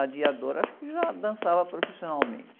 A, acho que já dançava profissionalmente.